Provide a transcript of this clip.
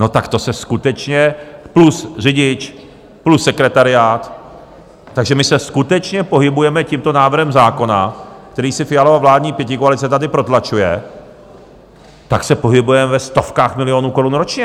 No, tak to se skutečně - plus řidič, plus sekretariát - takže my se skutečně pohybujeme tímto návrhem zákona, který si Fialova vládní pětikoalice tady protlačuje, tak se pohybujeme ve stovkách milionů korun ročně.